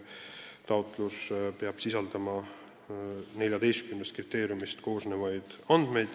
Taotlus peab sisaldama andmeid 14 kriteeriumile vastamise kohta.